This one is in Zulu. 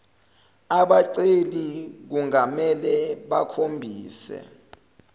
abaceli kungamele bakhombise